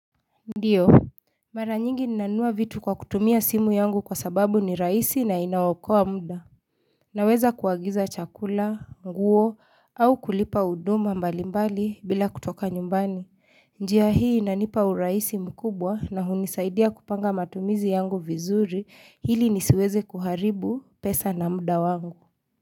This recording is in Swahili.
Ndiyo, mara nyingi ninanua vitu kwa kutumia simu yangu kwa sababu ni rahisi na inaokoa muda Naweza kuagiza chakula, nguo, au kulipa huduma mbali mbali bila kutoka nyumbani njia hii inanipa hurahisi mkubwa na hunisaidia kupanga matumizi yangu vizuri ili nisiweze kuharibu pesa na muda wangu.